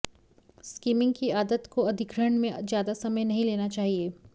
skimming की आदत को अधिग्रहण में ज्यादा समय नहीं लेना चाहिए